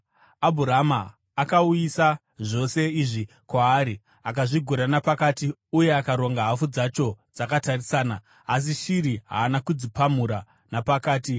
Abhurama akauyisa zvose izvi kwaari, akazvigura napakati uye akaronga hafu dzacho dzakatarisana; asi shiri haana kudzipamura napakati.